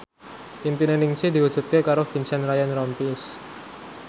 impine Ningsih diwujudke karo Vincent Ryan Rompies